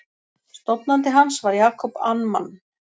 Stofnandi hans var Jacob Amman.